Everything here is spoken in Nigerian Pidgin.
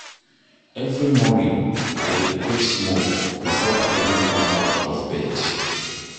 Every morning, I dey pray small before I even come out of bed.